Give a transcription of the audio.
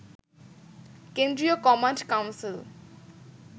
কেন্দ্রীয় command council